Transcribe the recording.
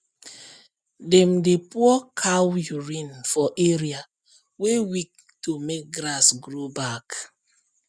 dem dey pour cow urine for area wey weak to make grass grow back